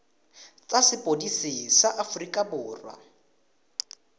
tsa sepodisi sa aforika borwa